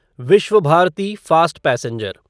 Vishwabharati fast passenger